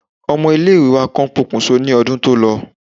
Ọmọ ilé ìwé wa kan pokùnso ní ọdún tó lọ.